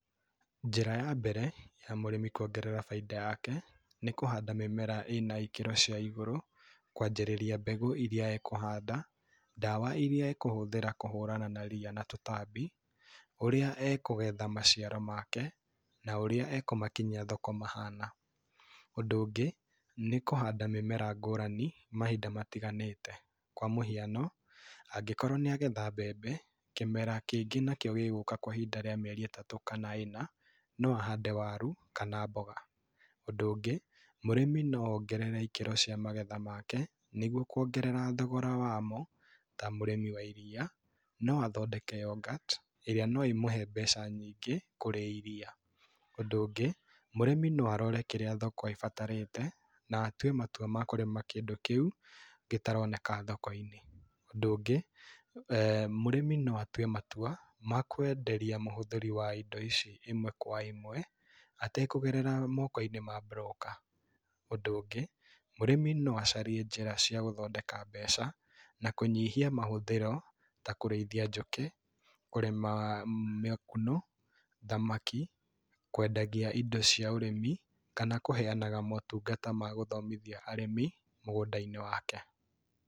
Njĩra ya mbere, ya mũrĩmi kuongerera bainda yake, nĩ kũhanda mĩmera ĩna ikĩro cia igũrũ. Kwanjĩrĩria mbegũ irĩa ekũhanda, ndawa irĩa ekũhuthĩra kũhũrana na ria na tũtambi, ũrĩa ekũgetha maciaro make, na ũrĩa ekũmakinyia thoko mahana. Ũndũ ũngĩ, nĩ kũhanda mĩmera ngũrani mahinda matiganĩte. Kwa mũhiano, angĩkorwo nĩagetha mbembe, kĩmera kĩngĩ nakĩo gĩgũka kwa ihinda rĩa mĩeri ĩtatu kana ĩna, no ahande waru, kana mboga. Ũndũ ũngĩ, mũrĩmi no ongerere ikĩro cia magetha make, nĩguo kũongerera thogora wamo. Ta mũrĩmi wa iria, no athodeke yoghurt, ĩrĩa no ĩmũhe mbeca nyingĩ, kũrĩ iria. Ũndũ ũngĩ, mũrĩmi no arore kĩrĩa thoko ĩbatarĩte, na atũe matũa ma kũrĩma kĩndũ kĩu, gĩtaroneka thoko-inĩ. Ũndũ ũngĩ, mũrĩmi no atue matua, ma kwenderia mũhũthĩri wa indo ici ĩmwe kwa ĩmwe, atekũgerera moko-inĩ ma mburũka. Ũndũ ũngĩ, mũrĩmi no acarie njĩra cia gũthodeka mbeca, na kũnyihia mahũthĩro, ta kũrĩithia njũkĩ, kũrĩma makunũ, thamaki, kwendagia indo cia ũrĩmi, kana kuhenaga motũngana ma gũthomithia arĩmi, mũgũnda-inĩ wake.